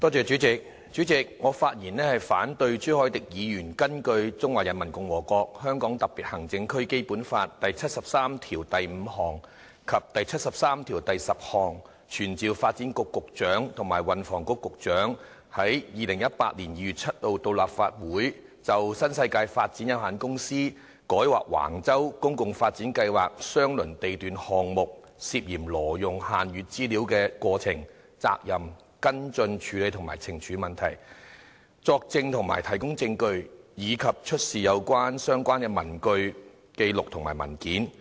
主席，我發言反對朱凱廸議員根據《中華人民共和國香港特別行政區基本法》第七十三條第五項及第七十三條第十項，傳召發展局局長及運輸及房屋局局長於2018年2月7日到立法會席前，就新世界發展有限公司於改劃橫洲公共房屋發展計劃相鄰地段項目時，涉嫌挪用限閱資料之過程、責任、跟進處理及懲處事宜，作證及提供證據，以及出示所有相關的文據、紀錄或文件。